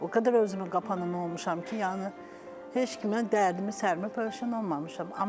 O qədər özümə qapanan olmuşam ki, yəni heç kimə dərdimi, sərimi paylaşan olmamışam.